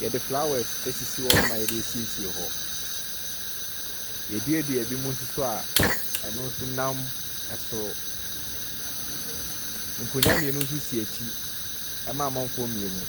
Wɔde flowers asisi hɔnom a a wɔde asiesie hɔ. Wɔaduadua binomnso so a ɛno nso nam soro. Nkonnwa mmienu nso si akyire ma amanfoɔ mmienu.